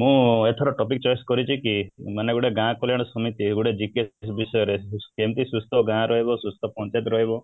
ମୁଁ ଏଥର topic choice କରିଛି କି ମାନେ ଗୋଟେ ଗାଁ କଲ୍ୟାଣ ସମିତି ଗୋଟେ GKS ବିଷୟରେ ଯେମିତି ସୁସ୍ଥ ଗାଁ ରହିବ ସୁସ୍ଥ ପଞ୍ଚାୟତ ରହିବ